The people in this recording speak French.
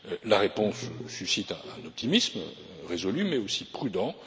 La réponse suscite un optimisme résolu mais aussi prudent.